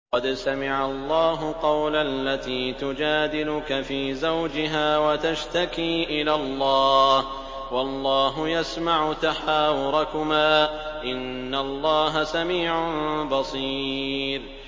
قَدْ سَمِعَ اللَّهُ قَوْلَ الَّتِي تُجَادِلُكَ فِي زَوْجِهَا وَتَشْتَكِي إِلَى اللَّهِ وَاللَّهُ يَسْمَعُ تَحَاوُرَكُمَا ۚ إِنَّ اللَّهَ سَمِيعٌ بَصِيرٌ